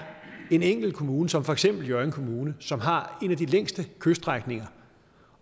en enkelt kommune som for eksempel hjørring kommune som har en af de længste kyststrækninger